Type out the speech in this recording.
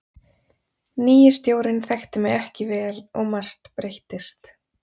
Nýi stjórinn þekkti mig ekki vel og margt breyttist.